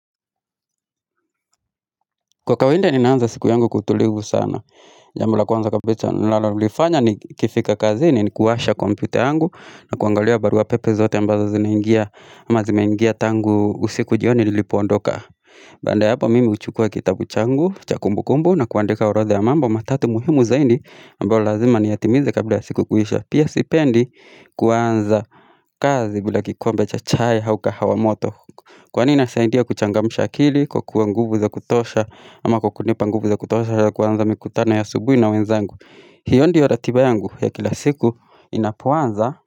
Kwa kawainda ninaanza siku yangu kw! Utulivu sana jambo la kwanza kabicha ninalolifanya nikifika kazini ni kuwasha kompyuta yangu na kuangalia barua pepe zote ambazo zinaingia ama zimeingia tangu usiku jioni nilipoondoka Banda ya hapo mimi uchukua kitabu changu cha kumbukumbu na kuandika urodha ya mambo matatu muhimu zaindi ambao lazima niyatimize kabla siku kuisha Pia sipendi kuanza kazi bila kikombe cha chaye hau kahawa moto Kwani ina saindia kuchangamusha akili kwa kua nguvu za kutosha ama kukunipa nguvu za kutosha ya kuanza mikutano ya asubuhi na wenzangu hiyo ndiyo ratiba yangu ya kila siku inapoanza.